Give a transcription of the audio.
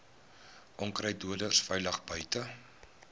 onkruiddoders veilig buite